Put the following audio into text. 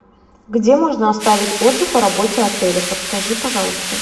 где можно оставить отзыв о работе отеля подскажи пожалуйста